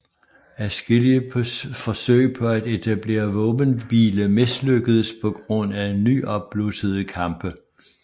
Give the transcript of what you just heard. Adskillige forsøg på at etablere våbenhvile mislykkedes på grund af nyopblussede kampe